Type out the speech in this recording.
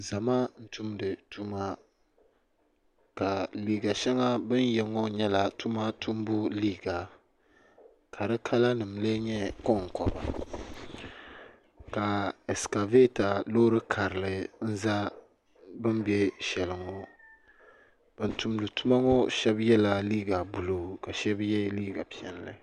Zama n tumdi tuma ka liiga sheŋa bini ye ŋɔ nyɛla tuma tumbu liiga ka di kala nima lee nyɛ konkoba ka ɛsikaveta loori karili n za bini be sheli ŋɔ ban tumdi tuma ŋɔ sheba yela liiga buluu ka sheba ye liiga piɛlli.